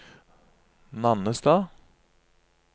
Nannestad